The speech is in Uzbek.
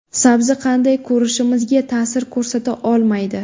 Sabzi qanday ko‘rishimizga ta’sir ko‘rsata olmaydi.